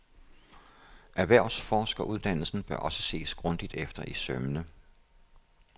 Erhvervsforskeruddannelsen bør også ses grundigt efter i sømmene.